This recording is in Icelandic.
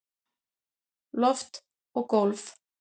Loft og gólf